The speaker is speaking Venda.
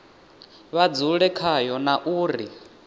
vha dzule khayo na uri